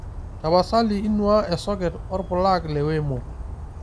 tapasali inuaa esoket orpulag le wemo